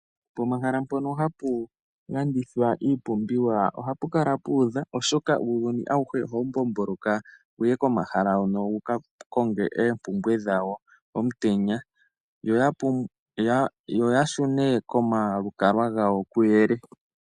Pomahala mpono hapu landithwa iipumbiwa ohapu kala pu udha, oshoka uuyuni awuhe ohawu mbomboloka wuye komahala hono wuka konge oompumbwe dhawo omutenya, yo ya shune komalukalwa gawo kuyele.